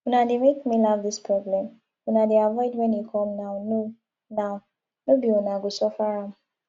una dey make me laugh dis problem una dey avoid when e come now no now no be una go suffer am